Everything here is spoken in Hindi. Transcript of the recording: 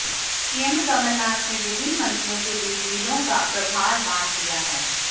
सीएम कमलनाथ ने विभिन्न मंत्रियों के बीच जिलों का प्रभार बांट दिया है